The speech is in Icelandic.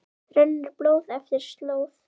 rennur blóð eftir slóð